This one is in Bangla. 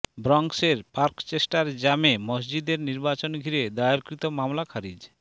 ব্রঙ্কসের পার্কচেস্টার জামে মসজিদের নির্বাচন ঘিরে দায়েরকৃত মামলা খারিজ